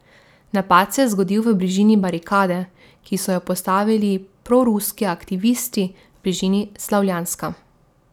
Napad se je zgodil v bližini barikade, ki so jo postavili proruski aktivisti v bližini Slavjanska.